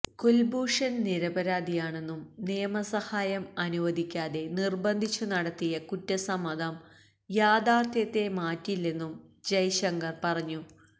കുൽഭൂഷൺ നിരപരാധിയാണെന്നും നിയമസഹായം അനുവദിക്കാതെ നിർബന്ധിച്ചു നടത്തിയ കുറ്റസമ്മതം യാഥാർഥ്യത്തെ മാറ്റില്ലെന്നും ജയ്ശങ്കർ പറഞ്ഞു